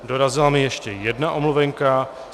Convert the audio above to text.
Dorazila mi ještě jedna omluvenka.